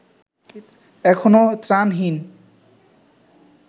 এখনো ত্রাণহীন